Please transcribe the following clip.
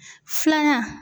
Filanan.